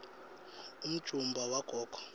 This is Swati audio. umjumbula wagogo